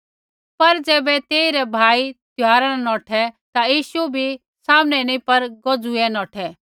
पर ज़ैबै तेइरै भाई त्यौहारा न नौठै ता यीशु भी सामने नैंई पर गोजुईया नौठै